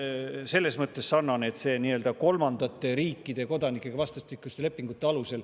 Hispaania on selles mõttes sarnane, et see on seal kolmandate riikide kodanikel vastastikuste lepingute alusel.